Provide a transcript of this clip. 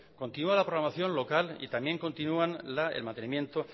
continúa la programación local y también continúan el mantenimiento